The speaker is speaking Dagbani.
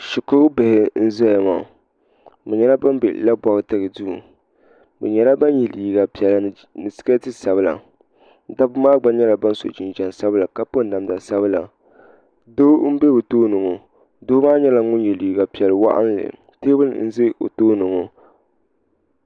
shikuru bihi n-ʒeya maa bɛ nyɛla ban be Labɔriti duu bɛ nyɛla ban ye liiga piɛlli ni siketi sabila dabba maa gba nyɛla ban sɔ jinjam sabila ka piri namda sabila doo m-be o tooni ŋɔ doo maa nyɛla ŋun ye liiga piɛl' waɣinli teebuli n-za o tooni ŋɔ.